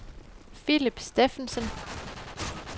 Philip Steffensen